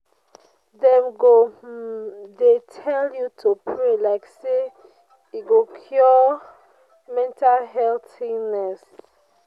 Dem go um dey tell you to pray like sey e go cure mental health illness.